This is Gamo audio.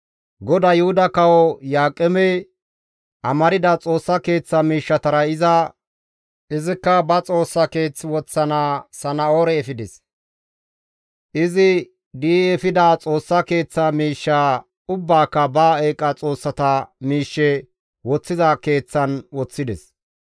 GODAY Yuhuda kawo Iyo7aaqeme amarda Xoossa Keeththa miishshatara iza kushen aaththi immides; izikka ba xoossa keeththan woththana Sana7oore efides; izi di7i efida Xoossa Keeththa miishsha ubbaaka ba eeqa xoossata miishshe woththiza keeththan woththides.